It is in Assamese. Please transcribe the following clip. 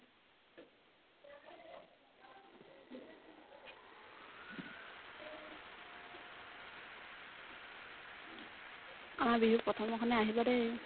আমাৰ বিহুত প্ৰথমৰ দিনাখনে আহিবা দেই